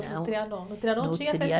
No Trianon, no Trianon tinha